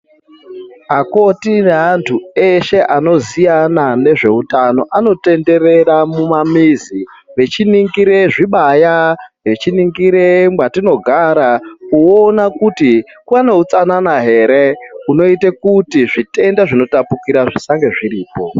Akoti evantu eshe anoziyana ngezveutano anotenderera mumamuzi vechiningire zvibaya vachiningire matinogara kuona kuti paneutsanana here hunoita kuti zvitenda zvinotapukira zvisange zviripo